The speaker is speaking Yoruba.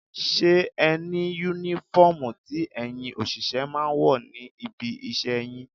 Ṣé ẹni Únífọ́ọ̀mù tí ẹ̀yin òṣìṣẹ́ máa ń wọ̀ ní ibi iṣẹ́ yín?